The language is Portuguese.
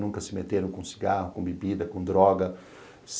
Nunca se meteram com cigarro, com bebida, com droga.